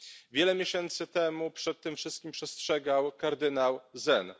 Wiele miesięcy temu przed tym wszystkim przestrzegał kardynał Zen.